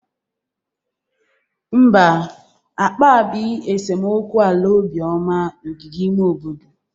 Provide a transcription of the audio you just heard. Mba, akpabi esemokwu ala Obioma n'ogige ime obodo.